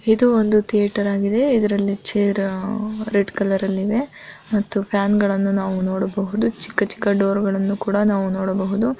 ಇದು ಒಂದು ಥಿಯೇಟರ್ ಆಗಿದೆ ಇದ್ರಲ್ಲಿ ಚೇರ್ ರೆಡ್ ಕಲರ್ ಅಲ್ಲಿ ಇದೆ ಮತ್ತು ಫಾನ್ ಗಳನ್ನ ನಾವು ನೋಡಬಹುದು ಚಿಕ್ಕ ಚಿಕ್ಕ ದೂರಗಳನ್ನು ಕೂಡ ನಾವು ನೋಡಬಹುದು.